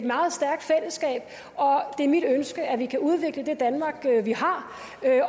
meget stærkt fællesskab og det er mit ønske at vi kan udvikle det danmark vi har